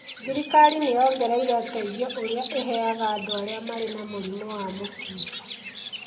Thirikari nĩ yongereire ũteithio ũrĩa ĩheaga andũ arĩa marĩ na mũrimũ wa mũkingo.